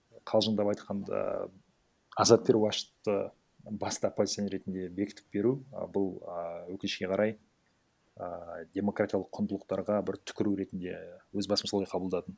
қалжыңдап айтқанда азат перуашевті басты оппозиционер ретінде бекітіп беру і бұл і өкінішке қарай і демократиялық құндылықтарға бір түкіру ретінде өз басым солай қабылдадым